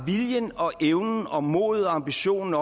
viljen og evnen og modet og ambitionen